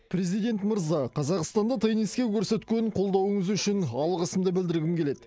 президент мырза қазақстанда тенниске көрсеткен қолдауыңыз үшін алғысымды білдіргім келеді